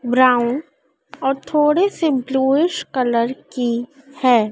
Brown और थोड़े से ब्लूइश कलर की है।